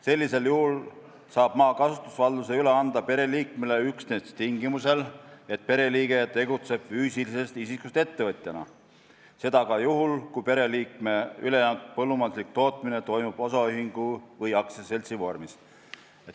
Sellisel juhul saab maakasutusvalduse pereliikmele üle anda üksnes tingimusel, et pereliige tegutseb füüsilisest isikust ettevõtjana, juhul, kui pereliikme üleantud põllumajanduslik tootmine toimub osaühingu või aktsiaseltsi vormis.